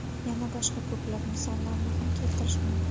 Yana boshqa ko‘plab misollarni ham keltirishim mumkin.